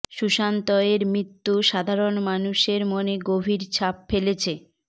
সুশান্ত এর মৃত্যু সাধারণ মানুষের মনে গভীর ছাপ ফেলেছে